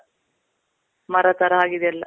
ಮರ ಥರ ಆಗಿದೆ ಎಲ್ಲ.